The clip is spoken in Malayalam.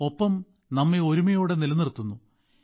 ഒപ്പം നമ്മെ ഒരുമയോടെ നിലനിർത്തുന്നു